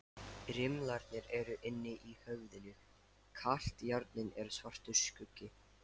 Rimlarnir eru inni í höfðinu, kalt járnið er svartur skuggi.